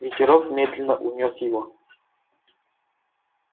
ветерок медленно унёс его